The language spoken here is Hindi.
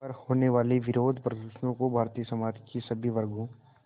पर होने वाले विरोधप्रदर्शनों को भारतीय समाज के सभी वर्गों